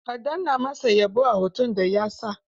Ka danna ma sa yabo a hoton da ya sa.